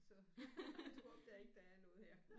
Så du opdager ikke der er noget her